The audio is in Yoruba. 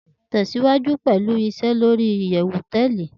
tesiwaju pelu ise Lori iyewu hoteeli